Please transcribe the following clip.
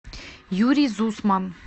юрий зусман